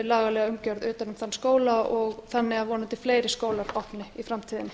lagalega umgjörð utan um þann skóla þannig að vonandi fleiri skólar opni í framtíðinni